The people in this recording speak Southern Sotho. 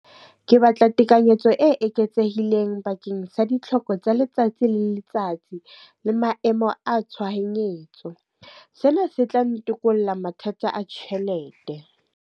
Ke batla tekanyetso e eketsehileng bakeng sa ditlhoko tsa letsatsi le letsatsi, le maemo a tshohanyetso. Sena se tla ntokolo mathata a tjhelete.